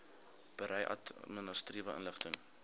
berei administratiewe inligting